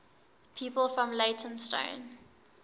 people from leytonstone